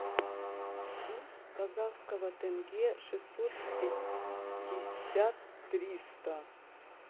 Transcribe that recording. курс казахского тенге шестьсот пятьдесят триста